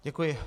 Děkuji.